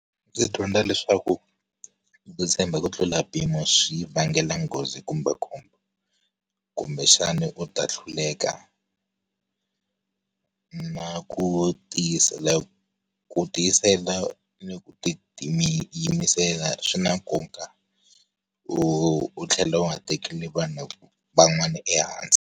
Ndzi dyondza leswaku, ku tshemba ku tlula mpimo swi vangela nghozi kumbe khombo. Kumbexani u ta hluleka na ku tiyisela. Ku tiyisela ni ku ti ti yimisela swi na nkoka. U u tlhela u nga tekeli vanhu van'wana ehansi.